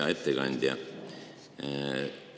Hea ettekandja!